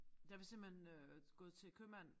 Der vi simpelthen øh gået til købmand